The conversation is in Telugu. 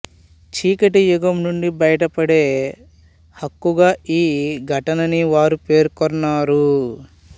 చీకటి యుగం నుండి బయటపడే హక్కుగా ఈ ఘటనని వారు పేర్కొన్నారు